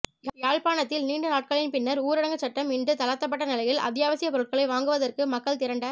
யாழ்ப்பாணத்தில் நீண்ட நாட்களின் பின்னர் ஊரடங்குச் சட்டம் இன்று தளர்த்தப்பட்ட நிலையில் அத்தியாவசியப் பொருட்களை வாங்குவதற்கு மக்கள் திரண்ட